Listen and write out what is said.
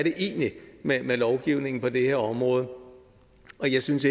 med lovgivningen på det her område og jeg synes